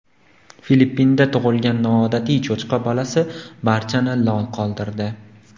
Filippinda tug‘ilgan noodatiy cho‘chqa bolasi barchani lol qoldirdi .